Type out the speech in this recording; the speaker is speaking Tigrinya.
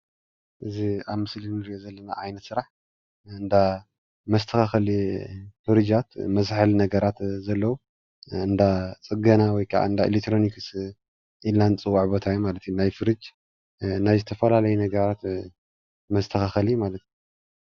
እዚ ኣብ ምስሊ እንሪኦ ዘለና ዓይነት ስራሕ እንዳ መስተካከሊ ፉሩጃት መዝሐሊ ነገራት ዘለዎ እንዳፅገና ወይ ከዓ እንዳ ኤሌክትሮኒክስ ኢልና እንፅዎዖ ቦታ እዩ ማለትእዩ ፡፡ናይ ፉሩጅ ናይ ዝተፈላለዩ ነገራት መስተካከሊ ማለት ፡፡